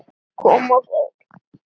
Kom og fór.